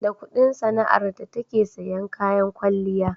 da Ƙudin sana'ar ta take siyan kayan kwalliya